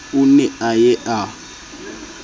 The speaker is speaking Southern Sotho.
o ne a ye a